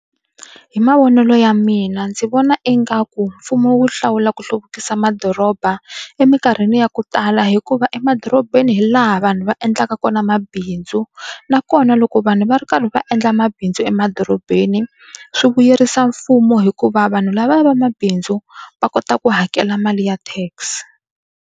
Hi mavonelo ya mina ndzi vona ingaku mfumo wu hlawula ku hluvukisa madoroba eminkarhini ya ku tala hikuva emadorobeni hi laha vanhu va endlaka kona mabindzu nakona loko vanhu va ri karhi va endla mabindzu emadorobeni swi vuyerisa mfumo hikuva vanhu lavaya va mabindzu va kota ku hakela mali ya tax.